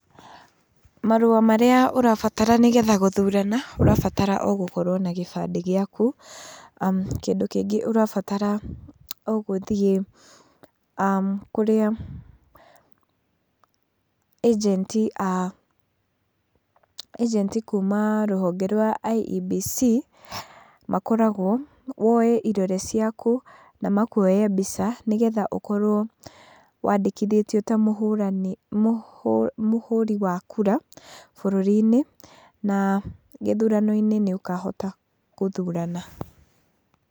Marũa marĩa ũrabatara nĩgetha gũthurana, ũrabatara o gũkorwo na gĩbandĩ gĩaku, kĩndu kĩngĩ urabatara o gũthiĩ kũrĩa ĩjenti a, ĩjenti kuuma rũhonge rwa IEBC makoragwo, woye irore ciaku na makuoye mbica nĩgetha ũkorwo wandĩkĩtwo ta mũhũrani, mũhũri wa kura bũrũri-inĩ, na gĩthurano-inĩ nĩ ũkahota gũthurana.